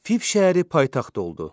Fif şəhəri paytaxt oldu.